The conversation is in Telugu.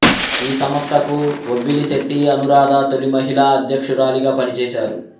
ఈ సంస్థకు వొబ్బిలిశెట్టి అనూరాధ తొలి మహిళా అధ్యక్షురాలిగా పనిచేశారు